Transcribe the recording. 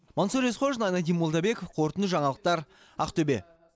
мансұр есқожин айнадин молдабеков қорытынды жаңалықтар ақтөбе